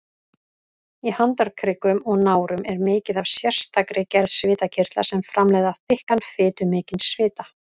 Í handarkrikum og nárum er mikið af sérstakri gerð svitakirtla sem framleiða þykkan, fitumikinn svita.